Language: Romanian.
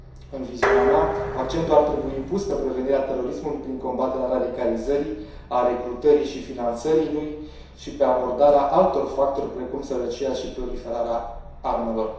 În viziunea mea, accentul ar trebui pus pe prevenirea terorismului prin combaterea radicalizării, a recrutării și finanțării lui și pe abordarea altor factori precum sărăcia și proliferarea armelor.